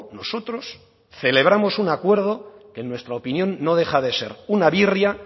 nosotros celebramos un acuerdo que en nuestra opinión no deja de ser una birria